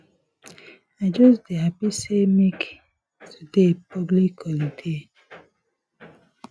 i just dey happy say dey make today public holiday